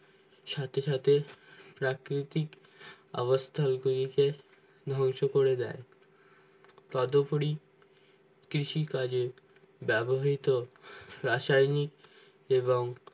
সাথে সাথে প্রাকৃতিক অবস্থার উপজীশেষ ধ্বংস করে দেয় পদপুরী কৃষি কাজে ব্যাবহৃত রাসায়নিক এবং